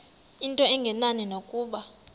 into engenani nokuba